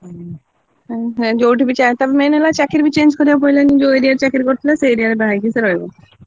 ହୁଁ ଯୋଉଠି ବି ଚାହିଁ main ହେଲା ଚାକିରୀ ବି change କରିବାକୁ ପଡିଲାନି, ଯୋଉ area ରେ ଚାକିରୀ କରିଥିଲା ସେଇ area ରେ ସେ ବାହା ହେଇକି ରହିଲା।